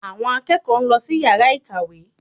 Àwọn akẹ́kọ̀ọ́ ń lọ sí yàrá ìkàwé